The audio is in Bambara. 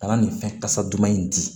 Ka na nin fɛn kasa duman in di